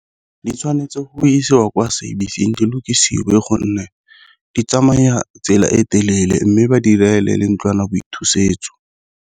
Di tshwanetse go isiwa kwa service-sing Di lokisiwe gonne di tsamaya tsela e telele, mme ba direle le ntlwanaboithusetso.